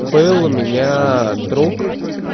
был у меня друг